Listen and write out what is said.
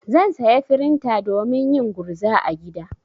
Zan saya frinta domin yin gurza a gida.